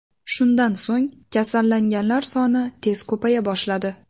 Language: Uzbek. Shundan so‘ng kasallanganlar soni tez ko‘paya boshladi.